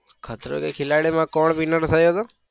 ખતરો કે ખિલાડી માં કોણ winner થયું તું?